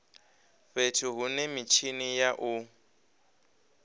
fhethu hune mitshini ya u